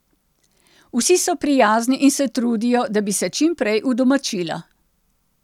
Vsi so prijazni in se trudijo, da bi se čim prej udomačila.